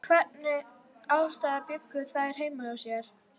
Við hvernig aðstæður bjuggu þær heima hjá sér?